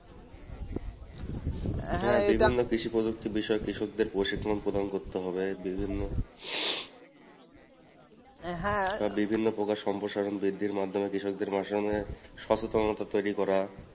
বিভিন্ন কৃষি পদক্ষেপ বিষয়ে কৃষকদের প্রশিক্ষণ প্রদান করতে হবে বিভিন্ন বিভিন্ন প্রকার সম্প্রসারণ বৃদ্ধির মাধ্যমে কৃষকদের তৈরি করা